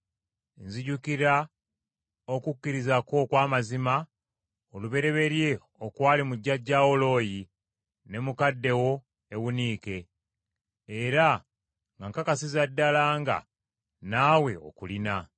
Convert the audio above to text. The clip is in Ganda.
Nzijukira okukkiriza kwo okw’amazima olubereberye okwali mu jjajjaawo Looyi ne mukadde wo Ewuniike; era nga nkakasiza ddala nga naawe okulina.